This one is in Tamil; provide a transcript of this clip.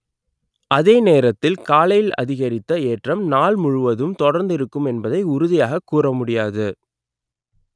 அதே நேரத்தில் காலையில் அதிகரித்த ஏற்றம் நாள் முழுவதும் தொடர்ந்திருக்கும் என்பதை உறுதியாக கூறமுடியாது